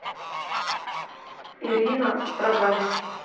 ирина строгаль